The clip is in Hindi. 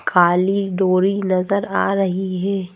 खाली डोरी नजर आ रही है।